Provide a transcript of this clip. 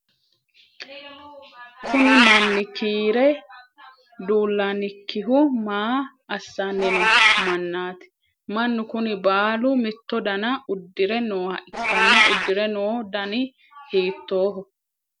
Kunni manni kiire dulannikihu maa asanni noo manaati? Mannu kunni baalu mitto danna udire nooha ikanna udire noo danni hiittooho?